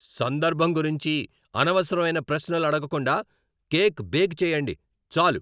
సందర్భం గురించి అనవసరమైన ప్రశ్నలు అడగకుండా కేక్ బేక్ చెయ్యండి చాలు.